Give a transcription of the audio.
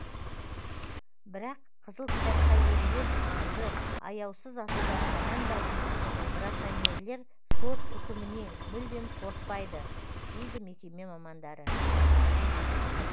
бірақ қызыл кітапқа енген аңды аяусыз атудан аянбайтын браконьерлер сот үкімінен мүлдем қорықпайды дейді мекеме мамандары